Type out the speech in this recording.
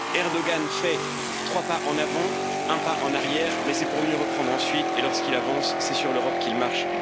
Erdoğan fait trois pas en avant, un pas en arrière, mais c'est pour mieux reprendre ensuite et lorsqu'il avance, c'est sur l'Europe qu'il marche.